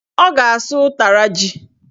Ọ ga-asụ ụtara ji